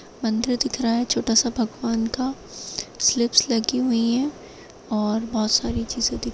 मंदिर दिख रहा है छोटा सा भगवान का स्लिप्स लगी हुई है और बहुत सारी चीज़ें दिख रही है।